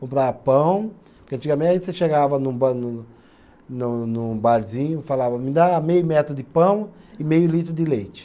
Comprava pão, porque antigamente você chegava num ba num, num, num num barzinho e falava, me dá meio metro de pão e meio litro de leite.